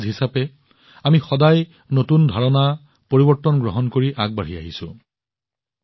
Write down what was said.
এখন সমাজ হিচাপে আমি সদায় নতুন ধাৰণা নতুন পৰিৱৰ্তন গ্ৰহণ কৰি আগবাঢ়ি আহিছো